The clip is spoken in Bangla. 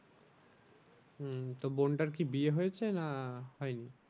হম তো বোনটার কি বিয়ে হয়েছে না হয়নি?